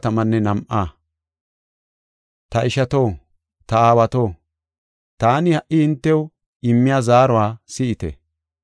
“Ta ishato, ta aawato, taani ha77i hintew immiya zaaruwa si7ite.”